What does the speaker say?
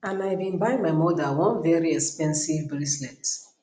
and i bin buy my mother one very expensive bracelet